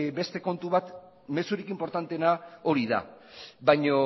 beste kontu bat mezurik inportanteena hori da baino